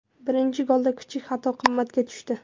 Birinchi golda kichik xato qimmatga tushdi.